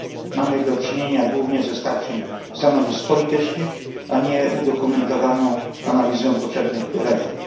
Mamy do czynienia głównie ze starciem stanowisk politycznych, a nie z udokumentowaną analizą potrzebnych reform.